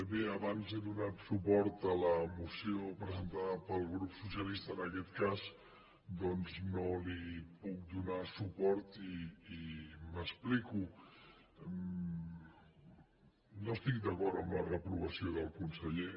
bé abans he donat suport a la moció presentada pel grup socialista en aquest cas doncs no li puc donar suport i m’explico no estic d’acord amb la reprovació del conseller